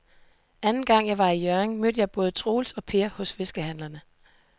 Anden gang jeg var i Hjørring, mødte jeg både Troels og Per hos fiskehandlerne.